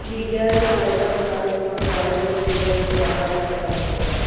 media ਰਿਪੋਰਟਾਂ ਅਨੁਸਾਰ ਲੋਕਾਂ ਨੂੰ ਦਾਊਦ ਅਤੇ ਅਨੀਤਾ ਦੇ ਪਿਆਰ ਬਾਰੇ ਪਤਾ ਲੱਗਿਆ